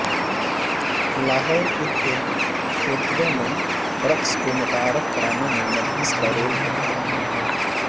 لاہور کی تھیٹروں میں رقص کو متعارف کرانے میں نرگس کا رول بہت اہم ہے